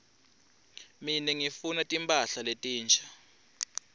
mine ngifuna timphahla letinsha